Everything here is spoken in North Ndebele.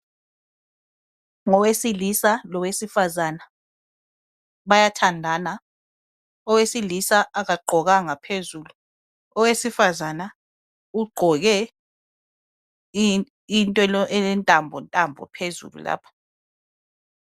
Ngowesilisa lowefazana bayathandana owesilisa akagqokanga phezulu owesifazana ugqoke into elentambo ntambo phezulu lapha